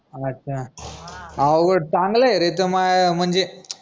अच्छा उलट चांगलंय रे त माय म्हनजे